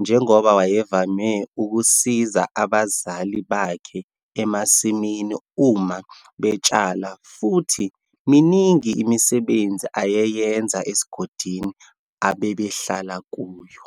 njengoba wayevame ukusiza abazali bakhe emasimini uma betshala futhi miningi imisebenzi ayeyenza esigodini ababehlala kuyo.